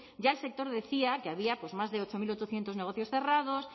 ya el sector decía que había más de ocho mil ochocientos negocios cerrados